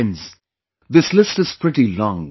Friends, this list is pretty long